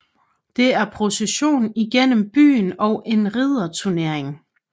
Der er procession igennem byen og en ridderturnering